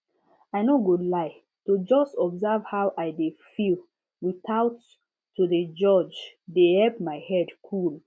i no go lie to just observe how i dey feel without to dey judge dey help my head cool